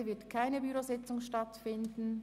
Heute findet keine Bürositzung statt.